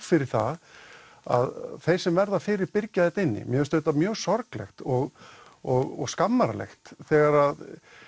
fyrir það að þeir sem verða fyrir byrgja þetta inni mér finnst mjög sorglegt og og skammarlegt þegar